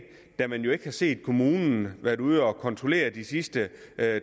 da man jo ikke har set kommunen være ude at kontrollere de sidste